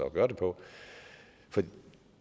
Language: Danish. gøre det på for